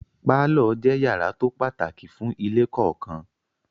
Pálọ̀ jẹ́ yàrá tó pàtàkì fún ilé kọ̀ọ̀kan.